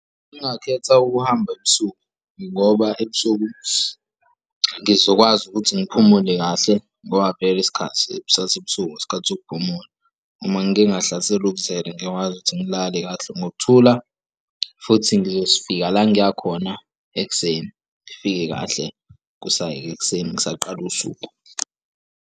Ngingakhetha ukuhamba ebusuku, ngoba ebusuku ngizokwazi ukuthi ngiphumule kahle ngoba vele isikhathi sasebusuku isikhathi sokuphumula. Uma ngike ngahlaselwa ukuzela ngiyakwazi ukuthi ngilale kahle ngokuthula futhi ngizofika la ngiyakhona ekuseni, ngifike kahle kusayi ekuseni ngisaqala usuku.